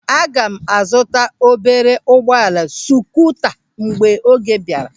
Aga m a zụta obere ụgbọala skuuta mgbe ego bịara.